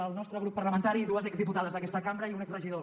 el nostre grup parlamentari i dues exdiputades d’aquesta cambra i un exregidor